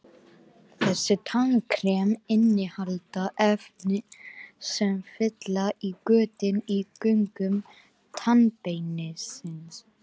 Þessi tannkrem innihalda efni sem fylla í götin í göngum tannbeinsins.